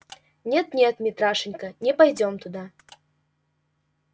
нет нет митрашенька не пойдём туда